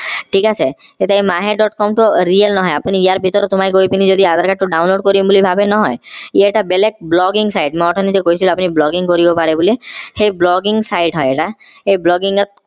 ঠিক আছে তেতিয়া এই mahe. com টো real নহয় আপুনি ইয়াৰ ভিতৰত সোমাই গৈ পিনি যদি adhere card টো download কৰিম বুলি ভাৱে নহয় ই এটা বেলেগ blogging site মই অথনি যে আপোনাক কৈছিলো নহয় আপুনি blogging কৰিব পাৰে বুলি সেই blogging site হয় এই blogging ত